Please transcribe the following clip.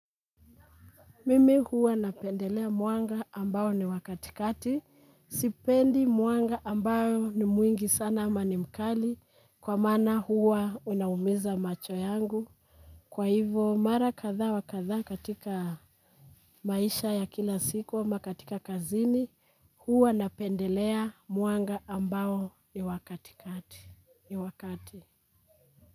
Mimi huwa napendelea mwanga ambao ni wa katikati, sipendi mwanga ambao ni mwingi sana ama ni mkali kwa maana huwa unaumiza macho yangu. Kwa hivyo mara kadha wa kadha katika maisha ya kila siku ama katika kazini huwa napendelea mwanga ambao ni wa katikati.